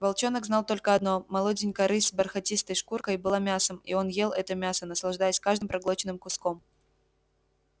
волчонок знал только одно молоденькая рысь с бархатистой шкуркой была мясом и он ел это мясо наслаждаясь каждым проглоченным куском